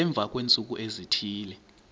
emva kweentsuku ezithile